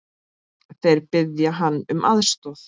Þeir biðja hann um aðstoð.